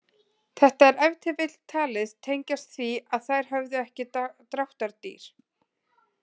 Þetta er ef til vill talið tengjast því að þær höfðu ekki dráttardýr.